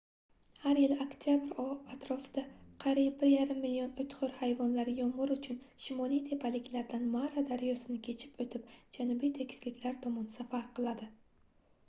har yili oktyabr atrofida qariyb 1,5 million oʻtxoʻr hayvonlar yomgʻir uchun shimoliy tepaliklardan mara daryosini kechib oʻtib janubiy tekisliklar tomon safar qiladi